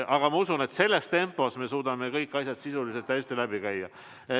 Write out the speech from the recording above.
Aga ma usun, et selles tempos me suudame kõik asjad sisuliselt hästi läbi käia.